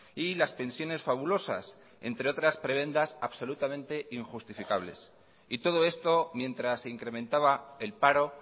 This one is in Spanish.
y las pensiones fabulosas entre otras prebendas absolutamente injustificables y todo esto mientras se incrementaba el paro